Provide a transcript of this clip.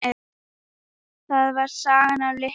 Það var sagan af Litla